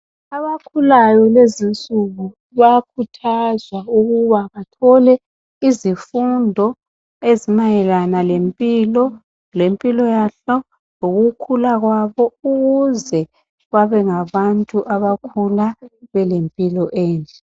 Abakhulayo kulezi insuku bayakhuthazwa ukuba bathole izifundo ezimayelana lempilo, lempilo yabo lokukhulula kwabo ukuze babengabantu abakhula bele mpilo enhle.